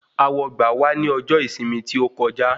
Awọgbà wà ní ọjọ ìsinmi tí ó kọjá